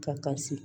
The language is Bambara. Ka kasi